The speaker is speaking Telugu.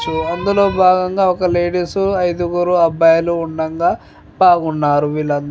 అందులో బాగంగా ఒక లేడీస్ ఐదురుగు అబ్బాయి లు ఉండంగ బాగున్నారు వీళ్ళు అంచు --